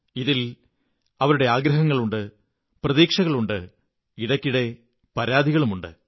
ഇതിൽ അവരുടെ ആഗ്രഹങ്ങളുണ്ട് പ്രതീക്ഷകളുണ്ട് ഇടയ്ക്കിടെ പരാതികളുമുണ്ട്